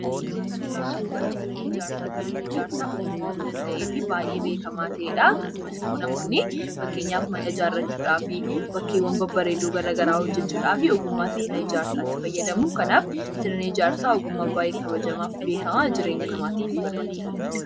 Suuraa kana irraa kan hubannu sirna ijaarsaati. Sirni ijaarsaa ogummaa of danda'eefi baay'ee beekamaa ta'edha. Akkasumas namoonni fakkeenyaaf mana ijaarrachuudhaafi bakkeewwan babbareedoo gara garaa hojjechuudhaafi ogummaa sirna ijaarsaatti fayyadamu. Kanaaf sirni ijaarsaa ogummaa baay'ee kabajamaafi beekamaa jireenya namaatiifis baay'ee barbaachisaa ta'edha.